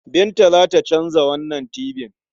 Binta za ta canza wannan tibin.